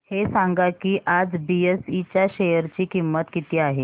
हे सांगा की आज बीएसई च्या शेअर ची किंमत किती आहे